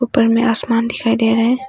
ऊपर मैं आसमान दिखाई दे रहे है।